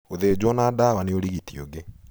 Gũthinjo na dawa nĩ ũrigiti ũngĩ.